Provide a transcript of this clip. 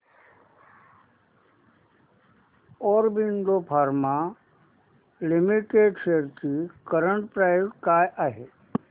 Aurobindo pharma limited shares ची current price काय आहे